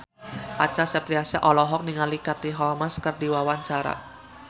Acha Septriasa olohok ningali Katie Holmes keur diwawancara